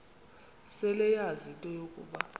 seleyazi into yokuba